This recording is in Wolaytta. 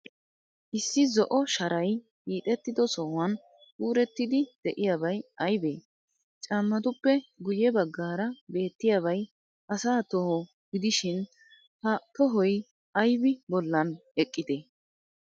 Issi zo"o sharay hiixettido sohuwan kuurettidi de'iyabay aybee? Caammatuppe guyye baggaara beettiyaabay asa toho gidishin, ha tohoy aybi bollan eqqidee?